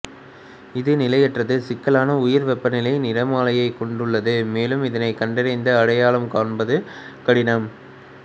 இது நிலையற்றது சிக்கலான உயர் வெப்பநிலை நிறமாலையைக் கொண்டுள்ளது மேலும் இதை கண்டறிந்து அடையாளம் காண்பதும் கடினம்